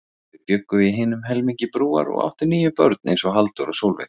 Þau bjuggu í hinum helmingi Brúar og áttu níu börn eins og Halldór og Sólveig.